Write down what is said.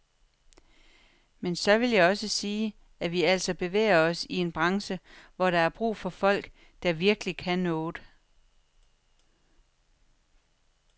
Men så vil jeg også sige, at vi altså bevæger os i en branche, hvor der er brug for folk, der virkelig kan noget.